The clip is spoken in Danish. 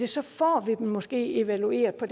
så får vi dem måske evalueret på